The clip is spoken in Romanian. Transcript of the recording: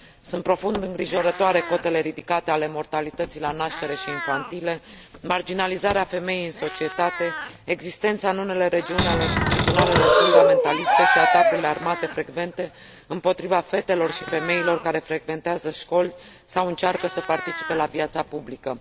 Sunt profund îngrijorătoare cotele ridicate ale mortalității la naștere și infantile, marginalizarea femeii în societate, existența în unele regiuni ale tribunalelor fundamentaliste și atacurile armate frecvente împotriva fetelor și femeilor care frecventează școli sau încearcă să participe la viața publică.